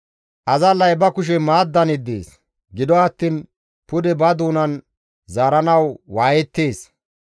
Azallay ba kushe maaddan yeddees; gido attiin pude ba doonan zaaranawu waayettees.